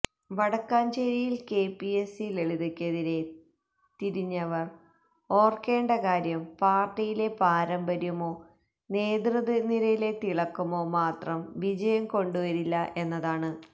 വടക്കാഞ്ചേരിയില് KPAC ലളിതയ്ക്കെതിരെ തിരിഞ്ഞവര് ഓര്ക്കേണ്ട കാര്യം പാര്ട്ടിയിലെ പാരമ്പര്യമോ നേതൃനിരയിലെ തിളക്കമോ മാത്രം വിജയം കൊണ്ടുവരില്ല എന്നതാണ്